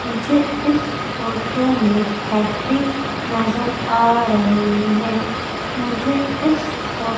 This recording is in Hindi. मुझे इस फोटो में फैक्ट्री नजर आ रही है मुझे इस फो--